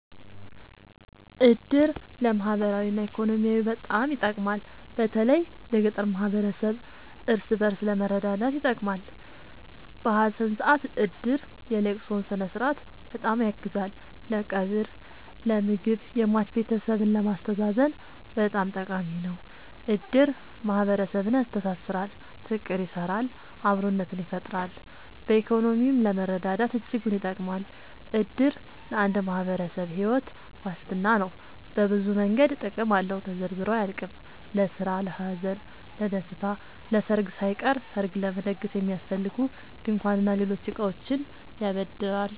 እድር ለማህበራዊ እና ኢኮኖሚያዊ በጣም ይጠቅማል። በተለይ ለገጠር ማህበረሰብ እርስ በእርስ ለመረዳዳት ይጠቅማል። በሀዘን ሰአት እድር የለቅሶውን ስነስርዓት በጣም ያግዛል ለቀብር ለምግብ የሟች ቤተሰብን ለማስተዛዘን በጣም ጠቃሚ ነው። እድር ማህረሰብን ያስተሳስራል። ፍቅር ይሰራል አብሮነትን ይፈጥራል። በኢኮኖሚም ለመረዳዳት እጅጉን ይጠብማል። እድር ለአንድ ማህበረሰብ ሒወት ዋስትና ነው። በብዙ መንገድ ጥቅም አለው ተዘርዝሮ አያልቅም። ለስራ ለሀዘን ለደሰታ። ለሰርግ ሳይቀር ሰርግ ለመደገስ የሚያስፈልጉ ድንኳን እና ሌሎች እቃዎችን ያበድራል